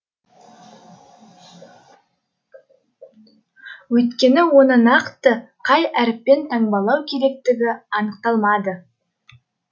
өйткені оны нақты қай әріппен таңбалау керектігі анықталмады